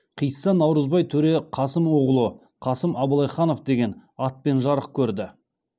қисса наурызбай төре қасым уғлы қасым абылайханов деген атпен жарық көрді